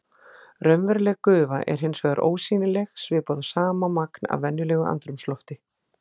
Raunveruleg gufa er hins vegar ósýnileg svipað og sama magn af venjulegu andrúmslofti.